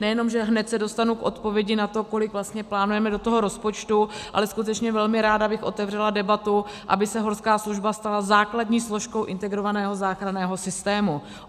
Nejenom že se hned dostanu k odpovědi na to, kolik vlastně plánujeme do toho rozpočtu, ale skutečně velmi ráda bych otevřela debatu, aby se horská služba stala základní složkou integrovaného záchranného systému.